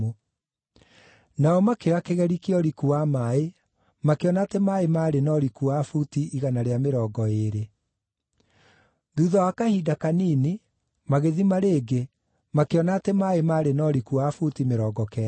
Nao makĩoya kĩgeri kĩa ũriku wa maaĩ makĩona atĩ maaĩ maarĩ na ũriku wa buti igana rĩa mĩrongo ĩĩrĩ. Thuutha wa kahinda kanini magĩthima rĩngĩ makĩona atĩ maaĩ maarĩ na ũriku wa buti mĩrongo kenda.